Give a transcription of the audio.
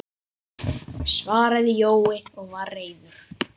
svaraði Jói og var reiður.